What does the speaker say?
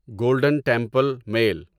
golden Temple mile